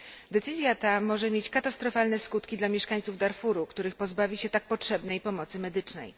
Decyzja ta może mieć katastrofalne skutki dla mieszkańców Darfuru, których pozbawi się tak potrzebnej pomocy medycznej.